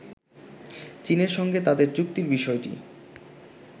চীনের সঙ্গে তাদের চুক্তির বিষয়টি